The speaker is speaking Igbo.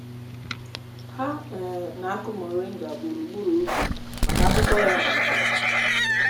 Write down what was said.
ha um na-akụ moringa gburugburu ubi maka akwụkwọ ya na ndò.